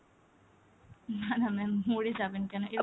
না না ma'am মরে যাবেন কেন?